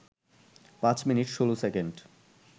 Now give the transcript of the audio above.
৫ minute ১৬ second